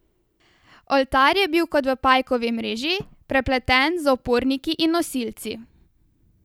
Oltar je bil kot v pajkovi mreži, prepleten z oporniki in nosilci.